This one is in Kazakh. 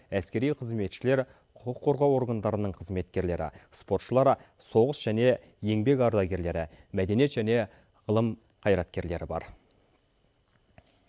әскери қызметшілер құқық қорғау органдарының қызметкерлері спортшылар соғыс және еңбек ардагерлері мәдениет және ғылым қайраткерлері бар